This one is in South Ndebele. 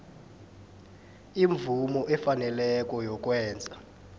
imvumo efaneleko yokwenza